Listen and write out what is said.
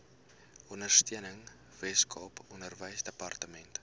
ondersteuning weskaap onderwysdepartement